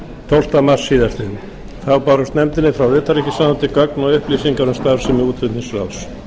tólfta mars síðastliðinn þá bárust nefndinni frá utanríkisráðuneyti gögn og upplýsingar um starfsemi útflutningsráðs